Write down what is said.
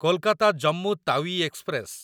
Kolkata Jammu Tawi express